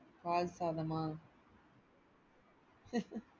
பால் சாதாமா?